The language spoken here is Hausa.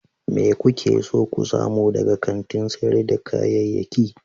Me kuke so ku samu daga kantin sayar da kayayyaki?